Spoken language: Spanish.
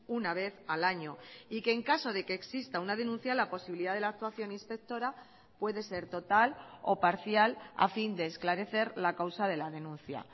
una vez al año y que en caso de que exista una denuncia la posibilidad de la actuación inspectora puede ser total o parcial a fin de esclarecer la causa de la denuncia